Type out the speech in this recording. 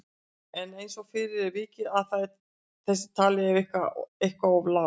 En eins og fyrr er vikið að er þessi tala eitthvað of lág.